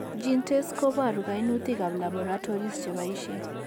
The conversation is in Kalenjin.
GeneTests koboru kainutik ab laboratories cheboisie